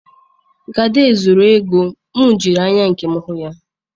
Gada zuru ego m jiri anya nkem hu ya.